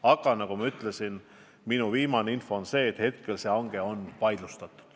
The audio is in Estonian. Aga nagu ma ütlesin, viimase info kohaselt on see hange praegu vaidlustatud.